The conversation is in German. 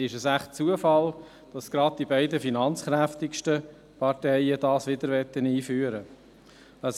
Ist es wohl Zufall, dass es gerade die beiden finanzkräftigsten Parteien wieder einführen wollen?